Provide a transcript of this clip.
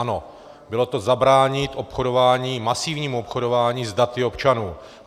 Ano, bylo to zabránit obchodování, masivnímu obchodování s daty občanů.